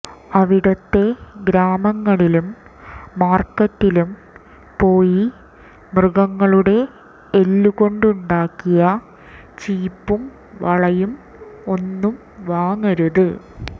അവിടുത്തെ ഗ്രാമങ്ങളിലും മാര്ക്കറ്റിലും പോയി മൃഗങ്ങളുടെ എല്ലു കൊണ്ടുണ്ടാക്കിയ ചീപ്പും വളയും ഒന്നും വാങ്ങരുത്